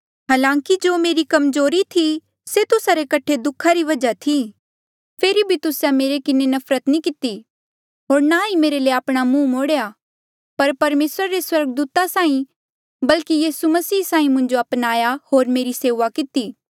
हालांकि जो मेरी कमजोरी थी से तुस्सा रे कठे दुःखा री वजहा थी फेरी भी तुस्से मेरे किन्हें नफरत नी किती होर ना ही मेरे ले आपणा मुहं मोड़ेया पर परमेसरा रे स्वर्गदूता साहीं बल्की यीसू मसीह साहीं मुंजो अपनाहां होर मेरी सेऊआ किती